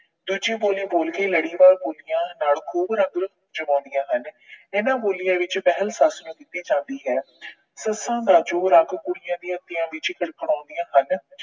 ਦੂਜੀ ਬੋਲੀ ਬੋਲ ਕੇ ਲੜੀਵਾਰ ਬੋਲੀਆਂ ਨਾਲ ਖੂਬ ਰੰਗ ਜਮਾਉਂਦੀਆਂ ਹਨ। ਇਹਨਾਂ ਬੋਲੀਆਂ ਵਿੱਚ ਪਹਿਲ ਸੱਸ ਨੂੰ ਦਿੱਤੀ ਜਾਂਦੀ ਹੈ। ਸੱਸਾਂ ਦਾ ਜੋਰ ਅੱਕ ਕੁੜੀਆਂ ਵੀ ਅੱਤਿਆਂ ਵਿੱਚ ਫੜਫੜਾਉਂਦੀਆਂ ਹਨ।